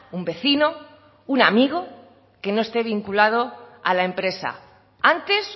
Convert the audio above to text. un vecino un amigo que no esté vinculado a la empresa antes